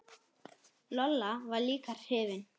Lolla var líka hrifin.